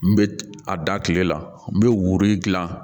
N bɛ a da kile la n bɛ wori gilan